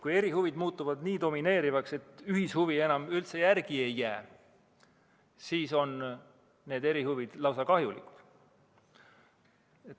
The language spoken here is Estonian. Kui erihuvid muutuvad nii domineerivaks, et ühishuvi enam üldse järele ei jää, siis on erihuvid lausa kahjulikud.